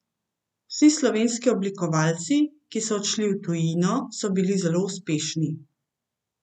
Vsi slovenski oblikovalci, ki so odšli v tujino, so bili zelo uspešni.